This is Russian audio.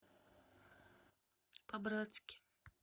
по братски